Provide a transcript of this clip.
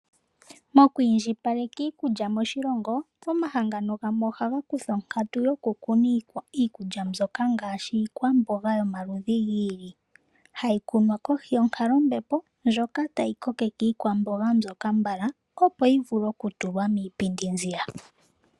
Mokwiindjipaleka iikulya moshilongo, omahangano gamwe ohaga kutha onkatu yokukuna iikulya mbyoka ngaashi, iikwamboga yomaludhi gi ili, hayi kunwa kohi yonkalo yombepo ndjoka tayi kokeke iikwamboga mbyoka mbala, opo yivule okutulwa miipindi nziya.